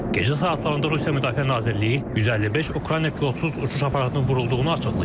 Gecə saatlarında Rusiya Müdafiə Nazirliyi 155 Ukrayna pilotsuz uçuş aparatının vurulduğunu açıqlayıb.